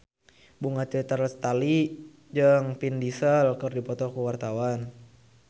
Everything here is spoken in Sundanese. Bunga Citra Lestari jeung Vin Diesel keur dipoto ku wartawan